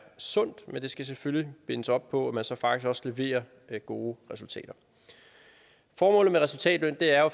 sundt men det skal selvfølgelig bindes op på at man så faktisk også leverer gode resultater formålet med resultatløn er jo